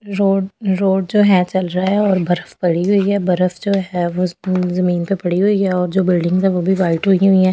Road road जो है चल रहा है और बर्फ पड़ी हुई है बर्फ जो है वो जमीन पे पड़ी हुई है और जो बिल्डिंग्स है वो भी वाइट हुई हुई है ।